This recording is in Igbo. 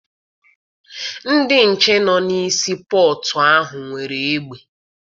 Ndị nche nọ na sii pọtụ ahụ nwere egbe.